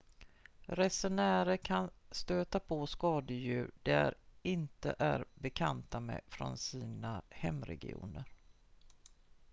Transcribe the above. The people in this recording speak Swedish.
resenärer kan stöta på skadedjur de inte är bekanta med från sina hemregioner